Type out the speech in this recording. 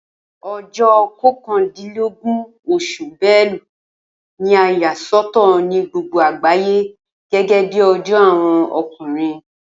O̩jó̩ ko̩kàndínlógún os̩ù Belu ni a yà sò̩tò̩ ni gbogbo àgbàyé gé̩́gé̩ bí o̩jó̩ àwo̩n o̩kùnrin